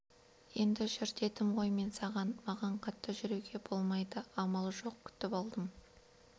енді жүр дедім ғой мен саған маған қатты жүруге болмайды амал жоқ күтіп алдым